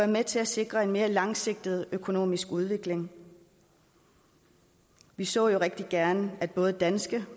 med til at sikre en mere langsigtet økonomisk udvikling vi så jo rigtig gerne at både danske